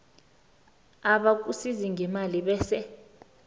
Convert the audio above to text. abakusiza ngemali bese